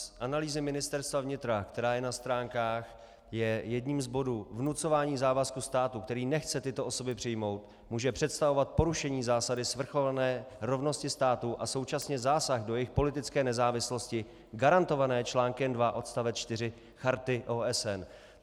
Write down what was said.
Z analýzy Ministerstva vnitra, která je na stránkách, je jedním z bodů - vnucování závazků státu, který nechce tyto osoby přijmout, může představovat porušení zásady svrchované rovnosti států a současně zásah do jejich politické nezávislosti garantované článkem 2 odst. 4 Charty OSN.